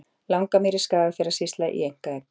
Langamýri, Skagafjarðarsýsla, í einkaeign.